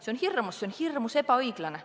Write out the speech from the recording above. See on hirmus, ja see on hirmus ebaõiglane.